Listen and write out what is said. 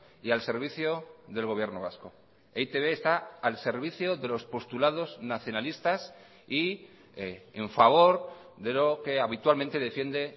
y al servicio del gobierno vasco e i te be está al servicio de los postulados nacionalistas y en favor de lo que habitualmente defiende